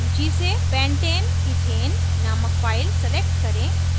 सूची से pentaneethane named file select करें